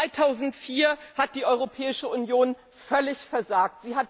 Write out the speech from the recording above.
2004 hat die Europäische Union völlig versagt.